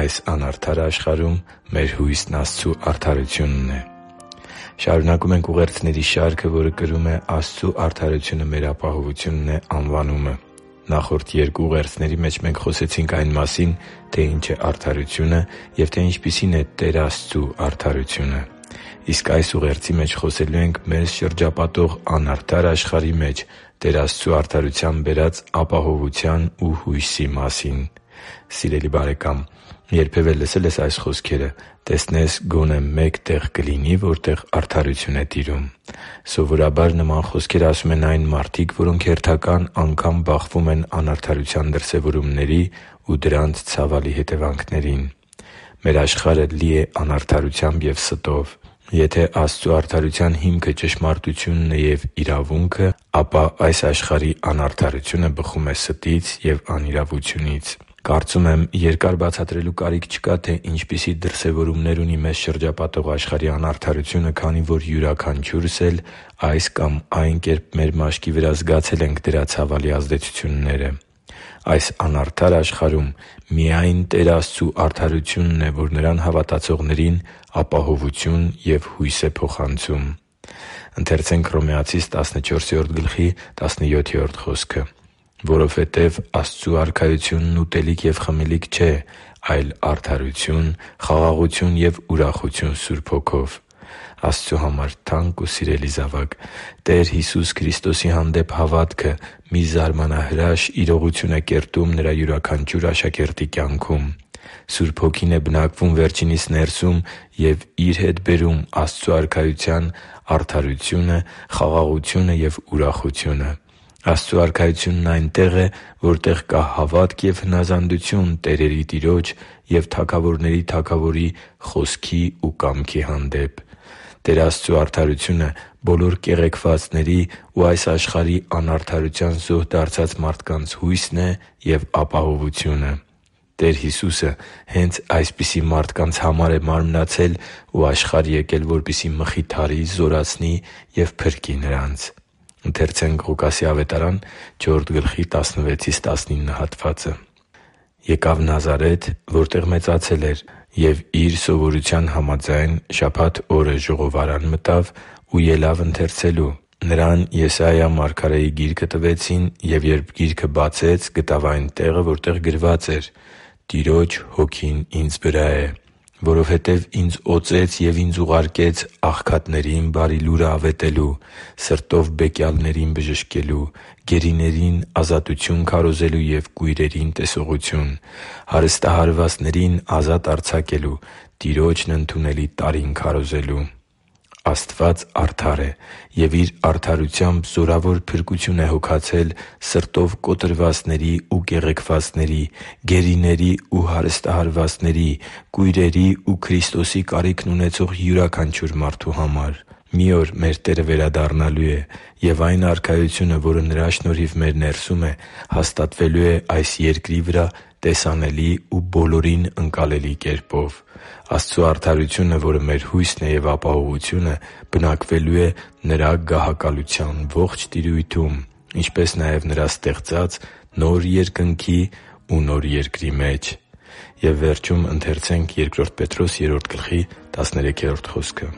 Այս անարդար աշխարհում մեր հույսն Աստծու արդարությունն է Շարունակում ենք ուղերձների շարքը, որը կրում է «Աստծու արդարությունը մեր ապահովությունն է» անվանումը։ Նախորդ երկու ուղերձների մեջ մենք խոսեցինք այն մասին, թե ինչ է արդարությունը և թե ինչպիսին է Տեր Աստծու արդարությունը։ Իսկ այս ուղերձի մեջ խոսելու ենք մեզ շրջապատող անարդար աշխարհի մեջ Տեր Աստծու արդարության բերած ապահովության ու հույսի մասին։ Սիրելի՛ բարեկամ, երբևէ լսե՞լ ես այս խոսքերը․ «․․․տեսնես՝ գոնե մեկ տե՞ղ կլինի, որտեղ արդարությունն է տիրում»։ Սովորաբար, նման խոսքեր ասում են այն մարդիկ, որոնք հերթական անգամ բախվում են անարդարության դրսևորումների ու դրանց ցավալի հետևանքներին։ Մեր աշխարհը լի է անարդարությամբ և ստով։ Եթե Աստծու արդարության հիմքը ճշմարտությունն է և իրավունքը, ապա այս աշխարհի անարդարությունը բխում է ստից ու անիրավությունից։ Կարծում եմ՝ երկար բացատրելու կարիք չկա, թե ինչպիսի դրսևորումներ ունի մեզ շրջապատող աշխարհի անարդարությունը, քանի որ յուրաքանչյուրս էլ այս կամ այն կերպ մեր մաշկի վրա զգացել ենք դրա ցավալի ազդեցությունները։ Այս անարդար աշխարհում միայն Տեր Աստծու արդարությունն է, որ Նրան հավատացողներին ապահովություն և հույս է փոխանցում։ «Որովհետև Աստծու Արքայությունն ուտելիք և խմելիք չէ, այլ արդարություն, խաղաղություն և ուրախություն Սուրբ Հոգով» (Հռոմեացիս 14․17): Աստծո համար թանկ ու սիրելի՛ զավակ, Տեր Հիսուս Քրիստոսի հանդեպ հավատքը մի զարմանահրաշ իրողություն է կերտում Նրա յուրաքանչյուր աշակերտի կյանքում։ Սուրբ Հոգին է բնակվում վերջինիս ներսում և Իր հետ բերում է Աստծու Արքայության արդարությունը, խաղաղությունն ու ուրախությունը։ Աստծու Արքայությունն այնտեղ է, որտեղ կա հավատք և հնազանդություն տերերի Տիրոջ և թագավորների Թագավորի Խոսքի ու կամքի հանդեպ։ Տեր Աստծու արդարությունը բոլոր կեղեքվածների ու այս աշխարհի անարդարության զոհ դարձած մարդկանց հույսն է և ապահովությունը։ Տեր Հիսուսը հե՛նց այսպիսի մարդկանց համար է մարմնացել ու աշխարհ եկել, որպեսզի մխիթարի, զորացնի ու փրկի նրանց։ «Եկավ Նազարեթ, որտեղ մեծացել էր, և Իր սովորության համաձայն՝ շաբաթ օրը ժողովարան մտավ ու ելավ ընթերցելու։ Նրան Եսայի մարգարեի գիրքը տվեցին, և երբ գիրքը բացեց, գտավ այն տեղը, որտեղ գրված էր. «Տիրոջ Հոգին Ինձ վրա է, որովհետև ի՛նձ օծեց և ի՛նձ ուղարկեց աղքատներին բարի լուրը ավետելու, սրտով բեկյալներին բժշկելու, գերիներին ազատություն քարոզելու և կույրերին՝ տեսողություն, հարստահարվածներին ազատ արձակելու, Տիրոջն ընդունելի տարին քարոզելու» (Ղուկաս 4․16-19): Աստված արդար է և Իր արդարությամբ զորավոր փրկություն է հոգացել սրտով կոտրվածների ու կեղեքվածների, գերիների ու հարստահարվածների, կույրերի ու Քրիստոսի կարիքն ունեցող յուրաքանչյուր մարդու համար։ Մի օր մեր Տերը վերադառնալու է, և այն Արքայությունը, որը Նրա շնորհիվ մեր ներսում է, հաստատվելու է այս երկրի վրա տեսանելի ու բոլորին ընկալելի կերպով։ Եվ Աստծու արդարությունը, որը մեր հույսն է և ապահովությունը, բնակվելու է Նրա գահակալության ողջ տիրույթում, ինչպես նաև Նրա ստեղծած նոր երկնքի ու նոր երկրի մեջ․․․